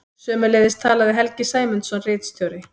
Sömuleiðis talaði Helgi Sæmundsson ritstjóri.